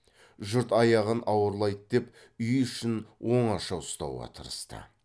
жұрт аяғын ауырлайды деп үй ішін оңаша ұстауға тырысты